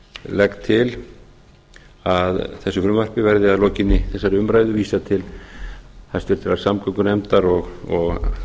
legg til að þessu frumvarpi verði að lokinni þessari umræðu vísað til háttvirtrar samgöngunefndar og